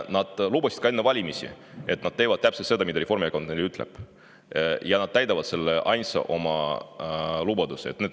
Nad lubasid enne valimisi, et nad teevad täpselt seda, mida Reformierakond neile ütleb, ja ainsa lubadusena täidavad nad selle oma lubaduse.